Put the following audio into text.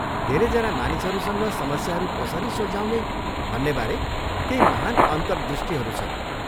धेरैजना मानिसहरूसँग समस्याहरू कसरी सुल्झाउने भन्नेबारे केही महान् अन्तर्दृष्टिहरू छन्।